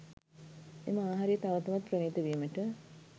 එම ආහාරය තව තවත් ප්‍රණීත වීමට